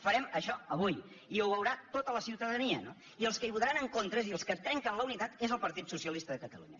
farem això avui i ho veurà tota la ciutadania no i els que hi votaran en contra és a dir els que trenquen la unitat són el partit socialista de catalunya